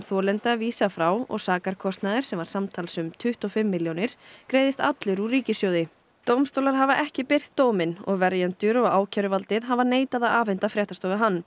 þolenda vísað frá og sakarkostnaður sem var samtals um tuttugu og fimm milljónir króna greiðist allur úr ríkissjóði dómstólar hafa ekki birt dóminn og verjendur og ákæruvaldið hafa neitað að afhenda fréttastofu hann